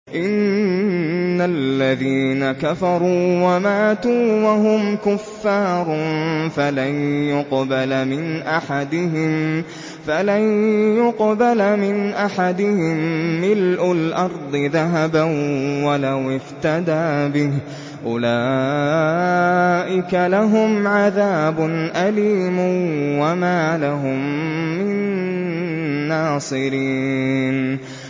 إِنَّ الَّذِينَ كَفَرُوا وَمَاتُوا وَهُمْ كُفَّارٌ فَلَن يُقْبَلَ مِنْ أَحَدِهِم مِّلْءُ الْأَرْضِ ذَهَبًا وَلَوِ افْتَدَىٰ بِهِ ۗ أُولَٰئِكَ لَهُمْ عَذَابٌ أَلِيمٌ وَمَا لَهُم مِّن نَّاصِرِينَ